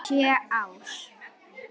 Sjö ár?